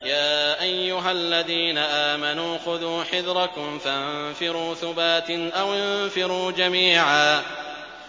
يَا أَيُّهَا الَّذِينَ آمَنُوا خُذُوا حِذْرَكُمْ فَانفِرُوا ثُبَاتٍ أَوِ انفِرُوا جَمِيعًا